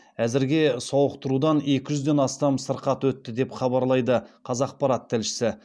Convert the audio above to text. әзірге сауықтырудан екі жүзден астам сырқат өтті деп хабарлайды қазақпарат тілшісі